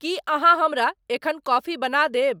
की अहाँहमरा एखन कॉफी बना देब